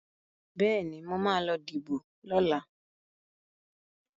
Bẹ́ẹ̀ni, mo ma lọ díbò lọ́la